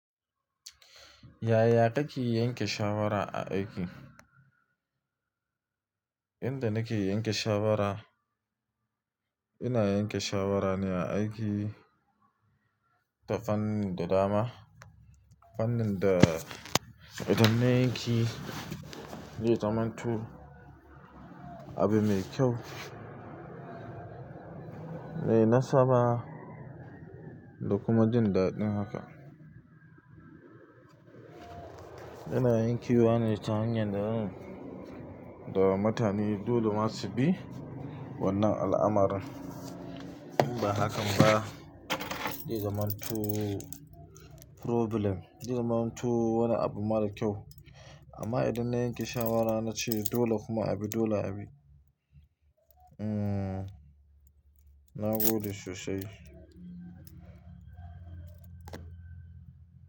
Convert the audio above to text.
Yaya kake yanke shawara a aiki? Inda nake yanke shawara, ina yanke shawara ne a aiki ta fanni da dama. Fannin da idan na yanki, zai zamanto abu mai kyau. Mai nasaba da kuma jin daɗin haka. Ina yankewa ni ta hanyan da mutane dole masu bi wannan al'amarin. Ba hakan ba, zai zamanto problem. Ya zamantu wani abu mara kyau. Amma idan na yanke shawara na ce dole kuma abi dole abi. Hmm, na gode sosai.